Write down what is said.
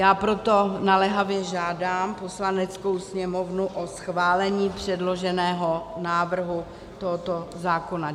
Já proto naléhavě žádám Poslaneckou sněmovnu o schválení předloženého návrhu tohoto zákona.